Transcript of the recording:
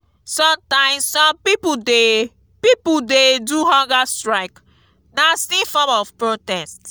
sometimes some pipo de pipo de do hunger strike na still form of protest